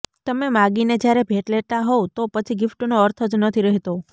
તમે માગીને જ્યારે ભેટ લેતા હોવ તો પછી ગિફ્ટનો અર્થ જ નથી રહેતો